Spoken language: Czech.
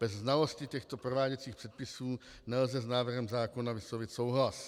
Bez znalosti těchto prováděcích předpisů nelze s návrhem zákona vyslovit souhlas.